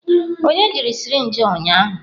Onye jiri sirinji a ụnyahụ?